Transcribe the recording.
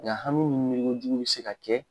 Nga hami miri kojugu bɛ se ka kɛ